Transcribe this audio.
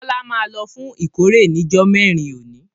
Bọlá máa lọ fún ìkórè ni jọ mẹ́rin òní.